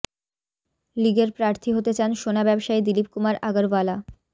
লীগের প্রার্থী হতে চান সোনা ব্যবসায়ী দিলীপ কুমার আগরওয়ালা